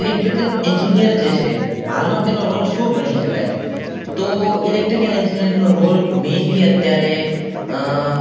electrical engineer જે છે હાલ માં તેનો roll શું ગણી શકાય તો electrical engineer નો roll mainly અત્યારે